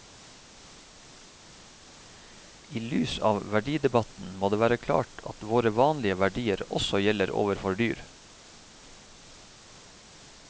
I lys av verdidebatten må det være klart at våre vanlige verdier også gjelder overfor dyr.